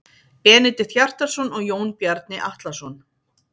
Benedikt Hjartarson og Jón Bjarni Atlason.